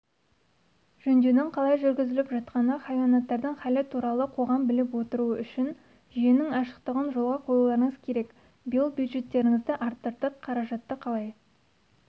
жөндеудің қалай жүргізіліп жатқаны хайуанаттардың халі туралы қоғам біліп отыруы үшін жүйенің ашықтығын жолға қоюларыңыз керек биыл бюджеттеріңізді арттырдық қаражатты қалай